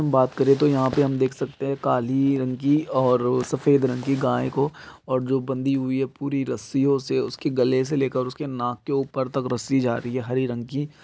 बात करें तो यहाँ पे हम देख सकते हैं काली रंग की और सफ़ेद रंग की गाय को और जो बंदी हुई है पूरी रस्सियों से उसके गले से लेकर उसके नाक के ऊपर तक रस्सी जा रही है हरे रंग की।